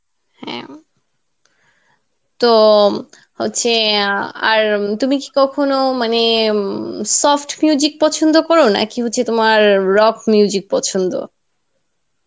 হ্যাঁ উম তো হচ্ছে ইয়া আর উম তুমি কি কখনো মানে উম soft পছন্দ করো নাকি হচ্ছে তোমার rock পছন্দ?